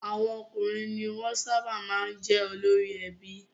Àwọn ọkùnrin ni wọ́n sábà máa ń jẹ́ olórí ẹbí.